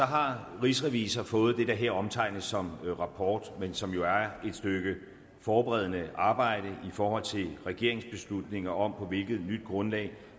har rigsrevisor fået det der her omtales som en rapport men som jo er et stykke forberedende arbejde i forhold til regeringens beslutning om på hvilket nyt grundlag